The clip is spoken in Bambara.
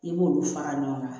I b'olu fara ɲɔgɔn kan